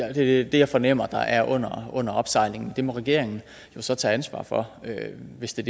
er det jeg fornemmer er under opsejling og det må regeringen jo så tage ansvar for hvis det